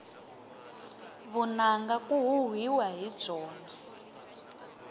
vunanga ku huhwiwa hi byona